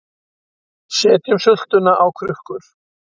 Setjum sultuna á krukkur